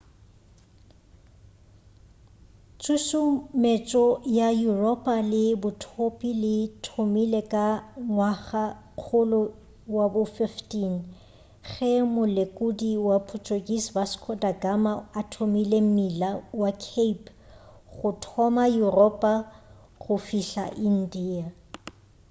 tšhušumetšo ya yuropa le bothopi di thomile ka ngwagakgolo wa bo 15 ge molekodi wa portuguese vasco da gama a thomile mmila wa cape go thoma yuropa go fihla india